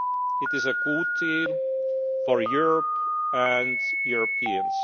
hands. It is a good deal, for Europe and Europeans.